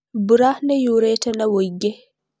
Mbura nĩyurĩte na wũingĩ